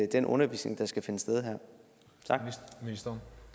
den undervisning der skal finde sted her